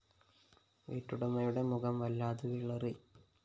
വീട്ടുടമയുടെ മുഖം വല്ലാതെ വിളറി